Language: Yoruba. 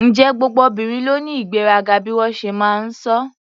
Ǹjẹ́ gbogbo obìnrin ló ní ìgbéraga bí wọ́n ṣe máa ń sọ?